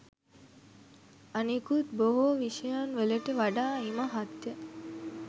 අනෙකුත් බොහෝ විෂයන් වලට වඩා ඉමහත්ය.